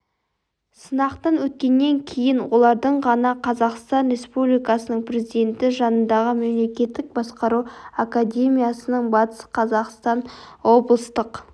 сынақтан өткеннен кейін олардың ғана қазақстан республикасының президенті жанындағы мемлекеттік басқару академиясының батыс қазақстан облыстық